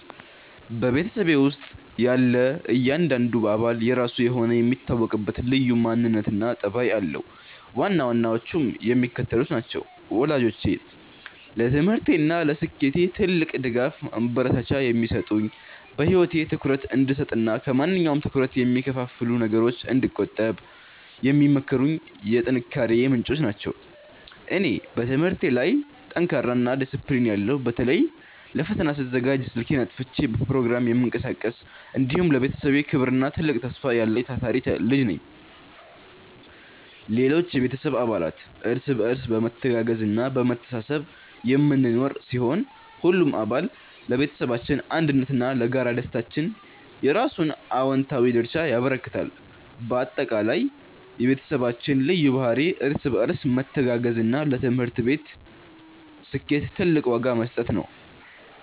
በቤተሰቤ ውስጥ ያለ እያንዳንዱ አባል የራሱ የሆነ የሚታወቅበት ልዩ ማንነትና ጠባይ አለው፤ ዋና ዋናዎቹም የሚከተሉት ናቸው፦ ወላጆቼ፦ ለትምህርቴና ለስኬቴ ትልቅ ድጋፍና ማበረታቻ የሚሰጡኝ፣ በህይወቴ ትኩረት እንድሰጥና ከማንኛውም ትኩረት ከሚከፋፍሉ ነገሮች እንድቆጠብ የሚመክሩኝ የጥንካሬዬ ምንጮች ናቸው። እኔ፦ በትምህርቴ ላይ ጠንካራና ዲሲፕሊን ያለው (በተለይ ለፈተና ስዘጋጅ ስልኬን አጥፍቼ በፕሮግራም የምቀሳቀስ)፣ እንዲሁም ለቤተሰቤ ክብርና ትልቅ ተስፋ ያለኝ ታታሪ ልጅ ነኝ። ሌሎች የቤተሰብ አባላት፦ እርስ በርስ በመተጋገዝና በመተሳሰብ የምንኖር ሲሆን፣ ሁሉም አባል ለቤተሰባችን አንድነትና ለጋራ ደስታችን የየራሱን አዎንታዊ ድርሻ ያበረክታል። ባጠቃላይ፣ የቤተሰባችን ልዩ ባህሪ እርስ በርስ መተጋገዝና ለትምህርት ስኬት ትልቅ ዋጋ መስጠት ነው።